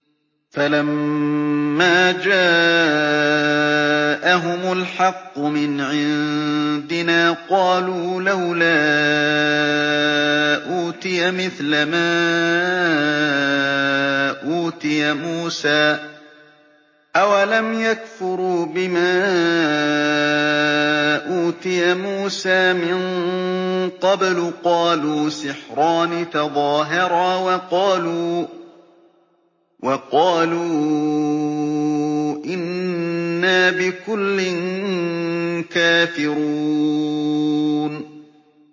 فَلَمَّا جَاءَهُمُ الْحَقُّ مِنْ عِندِنَا قَالُوا لَوْلَا أُوتِيَ مِثْلَ مَا أُوتِيَ مُوسَىٰ ۚ أَوَلَمْ يَكْفُرُوا بِمَا أُوتِيَ مُوسَىٰ مِن قَبْلُ ۖ قَالُوا سِحْرَانِ تَظَاهَرَا وَقَالُوا إِنَّا بِكُلٍّ كَافِرُونَ